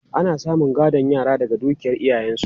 Ana samun gadon yara daga dukiyar iyayensu.